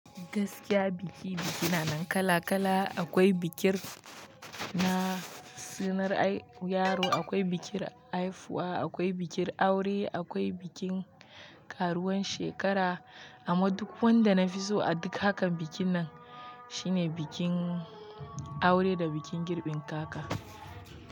Gaskiya biki-biki na nan kala-kala. Akwai bikin na sunar yaro, akwai bikin haifuwa, akwai bikin aure, akwai bikin karuwan shekara. Amma duk wanda na fi so a duk hakan bikin nan shine bikin aure da bikin girbin kaka.